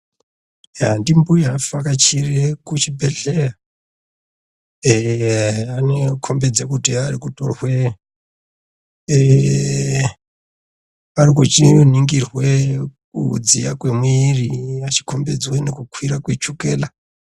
Ndimbuya avhakachira kuchibhedhlera anokombidza kuti arikutorwa achiningirwa kudziya kwemwiri achikombidzwa kukwira kwechukela.